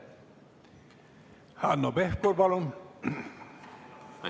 Hanno Pevkur, palun!